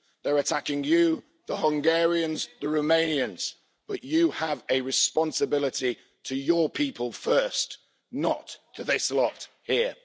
They're attacking you the Hungarians, the Romanians, but you have a responsibility to your people first, not to this lot here.